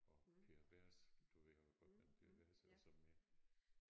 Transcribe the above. Og Per Vers du ved også godt hvem Per Vers er og så med